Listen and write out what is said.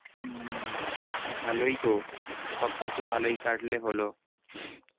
হম ভালোই তো সব কিছু ভালোই কাটলে হলো